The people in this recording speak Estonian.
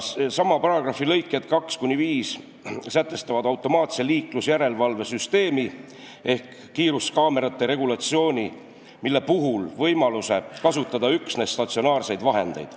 Sama paragrahvi lõiked 2–5 sätestavad automaatse liiklusjärelevalve süsteemi ehk kiiruskaamerate regulatsiooni puhul võimaluse kasutada üksnes statsionaarseid vahendeid.